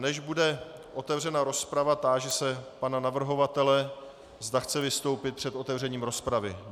Než bude otevřena rozprava, táži se pana navrhovatele, zda chce vystoupit před otevřením rozpravy.